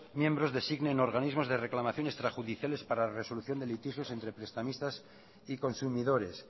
miembros designen organismos de reclamación extrajudiciales para resolución de litigios entre prestamistas y consumidores